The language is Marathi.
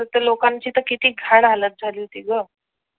लोकांची किती घाण हालत झाली होती ग